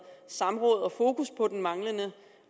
samråd om og fokus på den manglende